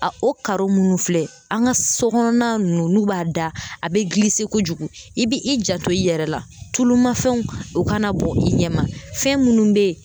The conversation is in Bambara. A o minnu filɛ an ka so kɔnɔna ninnu n'u b'a da a bɛ kojugu i bɛ i jato i yɛrɛ la tulumafɛnw o kana bɔ i ɲɛma fɛn minnu bɛ yen